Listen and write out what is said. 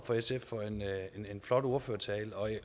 sf for en flot ordførertale og